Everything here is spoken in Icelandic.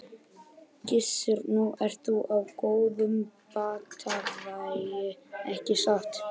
Gissur: Nú ert þú á góðum batavegi ekki satt?